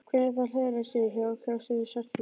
Hvernig það hliðrar sér hjá og kemst undan snertingu.